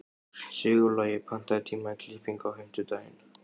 Sigurlogi, pantaðu tíma í klippingu á fimmtudaginn.